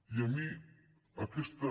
i a mi aquesta